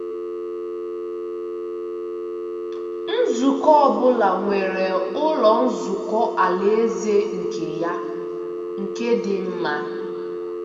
Nzukọ ọ bụla nwere Ụlọ Nzukọ Alaeze nke ya nke dị mma.